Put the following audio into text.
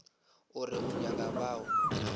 o re o nyaka bao